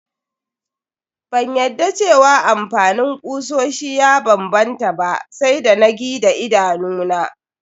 Ban yadda cewa amfanin kusoshi ya banbanta ba sai da na gi daidanuna.